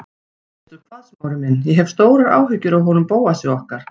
Veistu hvað, Smári minn, ég hef stórar áhyggjur af honum Bóasi okkar.